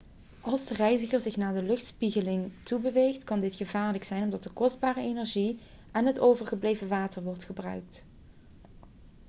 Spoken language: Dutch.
als de reiziger zich naar de luchtspiegeling toe beweegt kan dit gevaarlijk zijn omdat kostbare energie en het overgebleven water wordt verbruikt